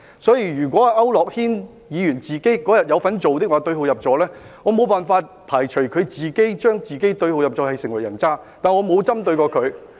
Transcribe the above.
所以，如果區諾軒議員那天也有這樣做，並對號入座，我無法排除他自行對號入座，成為人渣，但是我沒有針對他。